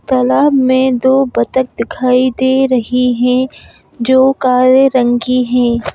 तालाब में दो बतक दिखाई दे रही हैं जो काले रंग की हैं।